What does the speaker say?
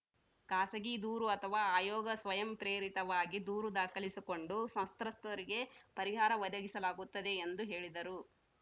ಖಾಸಗಿ ದೂರು ಅಥವಾ ಆಯೋಗ ಸ್ವಯಂ ಪ್ರೇರಿತವಾಗಿ ದೂರು ದಾಖಲಿಸಿಕೊಂಡು ಸಂತ್ರಸ್ತರಿಗೆ ಪರಿಹಾರ ಒದಗಿಸಲಾಗುತ್ತದೆ ಎಂದು ಹೇಳಿದರು